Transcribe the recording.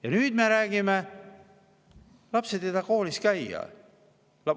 Ja nüüd me räägime, et lapsed ei taha koolis käia.